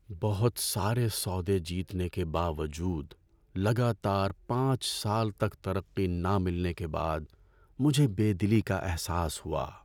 بہت سارے سودے جیتنے کے باوجود لگاتار پانچ سال تک ترقی نہ ملنے کے بعد مجھے بے دلی کا احساس ہوا۔